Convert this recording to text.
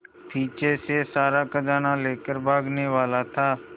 पीछे से सारा खजाना लेकर भागने वाला था